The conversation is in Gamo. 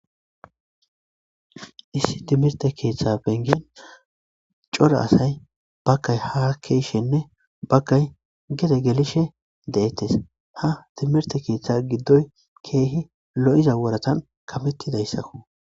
issi timirte keeththa bengian cora asay bakay ha keeshshenne bakay gede gelishe de7ettes ha timirte keeththa giddoy keehi lo7iza woratan kamettidayssakku